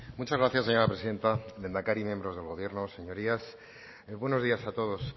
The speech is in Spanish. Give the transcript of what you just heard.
muchas gracias señora presidenta lehendakari miembros del gobierno señorías buenos días a todos